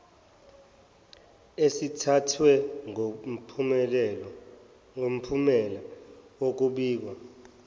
esithathwe ngomphumela wokwabiwa